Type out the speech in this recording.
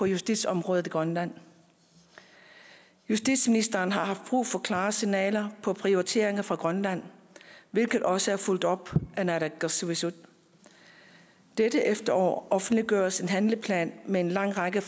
justitsområdet i grønland justitsministeren har haft brug for klare signaler om prioriteringer for grønland hvilket også er fulgt op af naalakkersuisut dette efterår offentliggøres en handleplan med en lang række